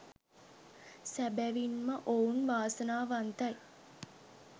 සැබැවින් ම ඔවුන් වාසනාවන්තයි